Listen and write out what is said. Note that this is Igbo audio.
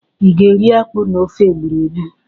I ga-eri akpụ na ofe egburegbu?